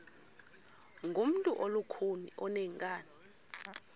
ngumntu olukhuni oneenkani